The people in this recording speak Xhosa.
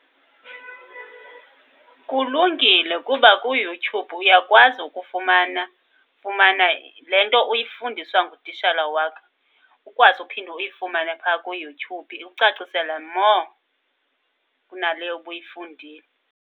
Kulungile, kuba kuYouTube uyakwazi ukufumana, fumana le nto uyifundiswa ngutishala wakho. Ukwazi uphinde uyifumane phaa kuYouTube ikucacisela more, kunale ubuyifundile.